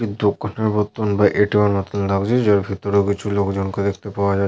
একটি দোকানের মতোন বা এ .টি .এম -এর মতোন লাগছে। যার ভিতরে কিছু লোকজনকে দেখতে পাওয়া যাচ্ছে ।